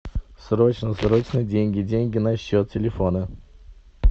срочно срочно деньги деньги на счет телефона